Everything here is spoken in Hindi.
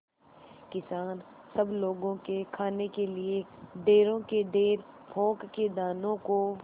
किसान सब लोगों के खाने के लिए ढेरों के ढेर पोंख के दानों को